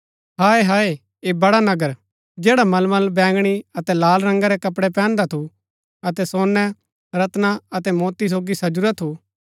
हाय हाय ऐह बड़ा नगर जैडा मलमल बैंगणी अतै लाल रंगा रै कपड़ै पैहनदा थू अतै सोनै रत्‍ना अतै मोती सोगी सजुरा थू